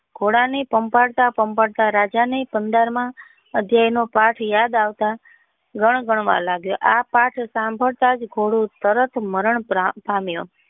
ઘોડા ને પંપાળતા પંપાળતા રાજા ને પંદર માં અધ્યાય નો પાથ યાદ આવતા ગણગણવા માંડ્યો આ પાથ સાંભળતા જ ઘોડો તરત મરણ પામ્યો.